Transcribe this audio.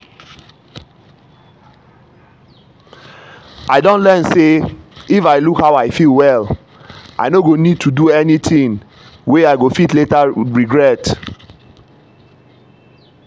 i don learn say if i look how i feel well i no go need to do anything wey i go fit later regret.